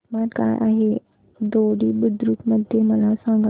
तापमान काय आहे दोडी बुद्रुक मध्ये मला सांगा